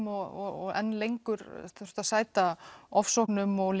og enn lengur þurft að sæta ofsóknum og